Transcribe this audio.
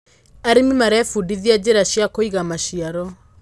arĩmi marebundithia njira cia kuiga maciaro